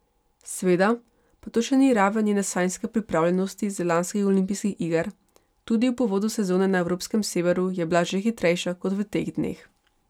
Seveda pa to še ni raven njene sanjske pripravljenosti z lanskih olimpijskih iger, tudi ob uvodu sezone na evropskem severu je bila že hitrejša kot v teh dneh.